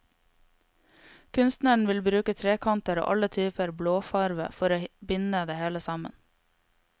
Kunstneren vil bruke trekanter og alle typer blåfarve for å binde det hele sammen.